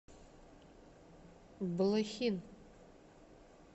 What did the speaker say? блохин